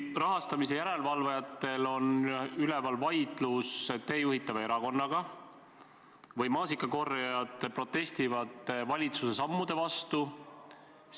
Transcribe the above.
Rahastamise üle järelevalvajatel on üleval vaidlus teie juhitava erakonnaga ja maasikakorjajad protestivad valitsuse sammude vastu.